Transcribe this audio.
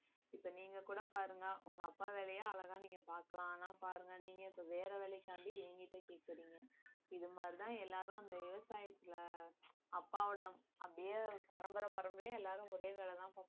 இப்ப நீங்க கூட பாருங்க உங்க அப்பா வேலைய அழகா நீங்க பாக்கலாம் ஆனா பாருங்க நீங்க இப்ப வேற வேலைக்காண்டி என்கிட்ட கேக்கறீங்க இது மாதிரி தான் எல்லாரும் இந்த விவசாயத்துல அப்பாவோட அப்படியே பரம்பரை பரம்பரையா எல்லாரும் ஒரே வேலை தான்